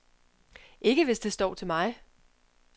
Ikke hvis det står til mig.